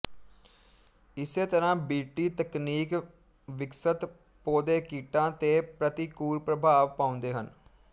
ਇਸੇ ਤਰ੍ਹਾਂ B T ਤਕਨੀਕ ਵਿਕਸਤ ਪੌਦੇ ਕੀਟਾਂ ਤੇ ਪ੍ਰਤੀਕੂਲ ਪ੍ਰਭਾਵ ਪਾਉਂਦੇ ਹਨ